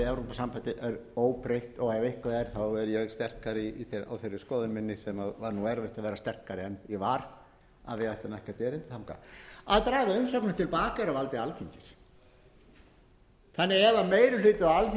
sem var nú erfitt að vera sterkari en ég var að við ættum ekkert erindi þangað að draga umsóknina til baka er á valdi alþingis þannig að ef meiri hluti